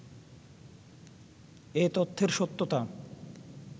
এ তথ্যের সত্যতা